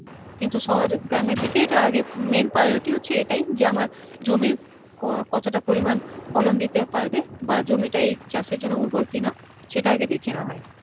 কিন্তু শহরে গ্রামের দিকে এইটা আগে main priority হচ্ছে এটাই যে আমার জমির কতটা পরিমান ফলন দিতে পারবে বা জমিটা এই চাষের জন্য ঊর্বর কিনা সেটা আগে দেখে নেওয়া হয়